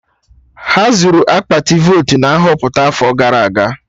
Ha zuru akpati votu na Nhọpụta afọ gara aga